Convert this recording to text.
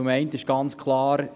Zum einen ist ganz klar: